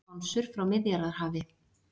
Skonsur frá Miðjarðarhafi